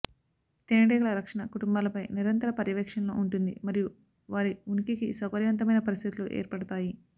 తేనెటీగల రక్షణ కుటుంబాలపై నిరంతర పర్యవేక్షణలో ఉంటుంది మరియు వారి ఉనికికి సౌకర్యవంతమైన పరిస్థితులు ఏర్పడతాయి